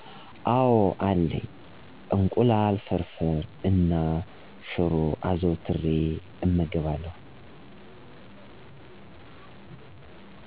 አወ አለኝ። እንቁላል ፍርፍር እና ሽሮ አዘውትሬ እመገባለው።